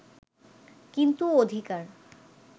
কিন্তু অধিকার